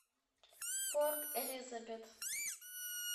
порт элизабет